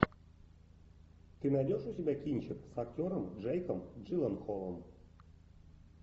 ты найдешь у себя кинчик с актером джейком джилленхолом